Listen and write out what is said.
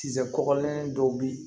Tisokɔlen dɔ bɛ yen